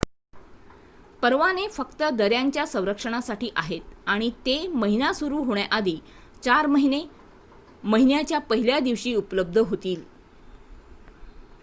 परवाने फक्त दऱ्यांच्या संरक्षणासाठी आहेत आणि ते महिना सुरू होण्याआधी चार महिने महिन्याच्या १ल्या दिवशी उपलब्ध होतील